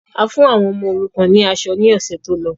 A fún àwọn ọmọ òrukàn ni aṣọ ni ọ̀sẹ̀ tó lọ.